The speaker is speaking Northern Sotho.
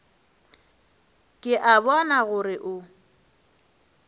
ke a bona gore o